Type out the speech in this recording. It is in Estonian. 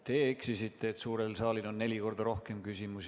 Te eksisite öeldes, et suurel saalil on neli korda rohkem küsimusi.